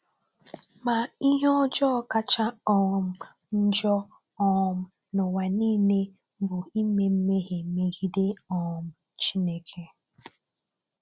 Ma ihe ọjọọ kacha um njọ um n’ụwa niile bụ ime mmehie megide um Chineke.